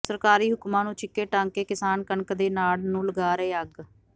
ਸਰਕਾਰੀ ਹੁਕਮਾਂ ਨੰੂ ਛਿੱਕੇ ਟੰਗ ਕੇ ਕਿਸਾਨ ਕਣਕ ਦੇ ਨਾੜ ਨੰੂ ਲਗਾ ਰਹੇ ਅੱਗ